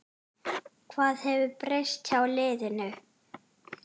Hvað hefur breyst hjá liðinu?